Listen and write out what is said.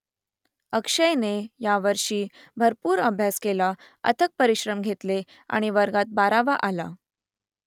अक्षयने यावर्षी भरपूर अभ्यास केला अथक परिश्रम घेतले आणि वर्गात बारावा आला